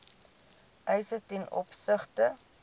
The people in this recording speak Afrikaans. eise ten opsigte